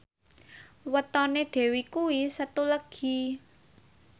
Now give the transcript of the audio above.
wetone Dewi kuwi Setu Legi